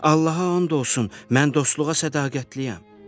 “Allaha and olsun, mən dostluğa sədaqətliyəm.”